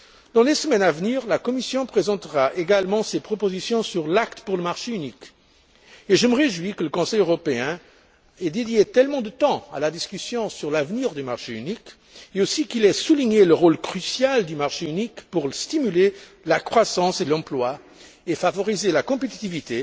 Dans les semaines à venir, la Commission présentera également ses propositions sur l'acte pour le marché unique et je me réjouis que le Conseil européen ait dédié tellement de temps à la discussion sur l'avenir du marché unique, et aussi qu'il ait souligné le rôle crucial du marché unique pour stimuler la croissance et l'emploi et favoriser la compétitivité,